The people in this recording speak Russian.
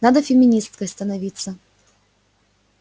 надо феминисткой становиться